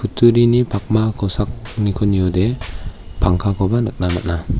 pakma kosakniko niode pangkakoba nikna man·a.